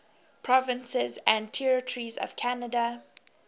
provinces and territories of canada